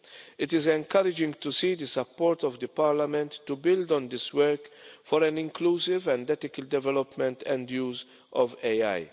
It is encouraging to see the support of Parliament to build on this work for an inclusive and ethical development in the use of AI.